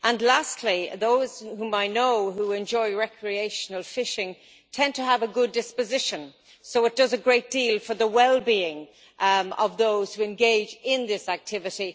Lastly, those whom I know who enjoy recreational fishing tend to have a good disposition, so it does a great deal for the wellbeing of those who engage in this activity.